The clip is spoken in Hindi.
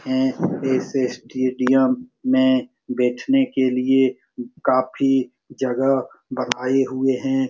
हैं इस स्टेडियम में बैठने के लिए काफी जगह बनाए हुए हैं।